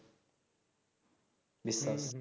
বিশ্বাস